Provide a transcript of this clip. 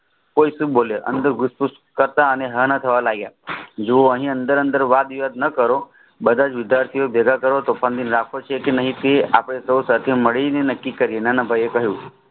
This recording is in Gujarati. કોઈ સુ બોલે અનાદર ગુશપુષ કરતા હા ના થવા લાગ્યા જુઓ એની અંદર અંદર વાતવિવાદ ન કરો બધા જ વિદ્યાર્થી ઓ ભેગાં કરો પેશગીત રાખવો છે કે નથી તેઓ સાથે મળીને નકી કરીયે